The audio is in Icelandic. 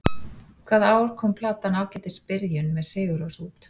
Hvaða ár kom platan Ágætis byrjun, með Sigurrós út?